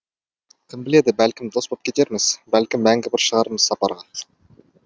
кім біледі бәлкім дос боп кетерміз бәлкім мәңгі бір шығармыз сапарға